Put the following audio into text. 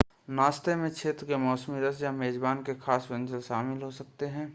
नाश्ते में क्षेत्र के मौसमी रस या मेज़बान के ख़ास व्यंजन शामिल हो सकते हैं